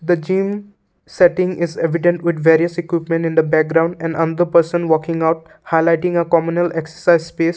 the gym setting is evident with various equipment in the background and another person working out highlighting a communal exercise space.